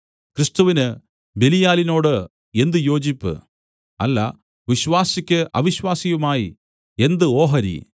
ക്രിസ്തുവിന് ബെലീയാലിനോട് എന്ത് യോജിപ്പ് അല്ല വിശ്വാസിക്ക് അവിശ്വാസിയുമായി എന്ത് ഓഹരി